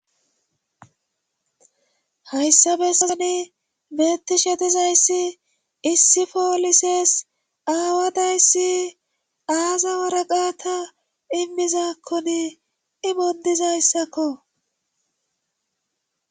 hayssa bessazani beettishe dizayssi issi foolisees aawadayssi aaza waraqaata immizakkoni imondizayssakko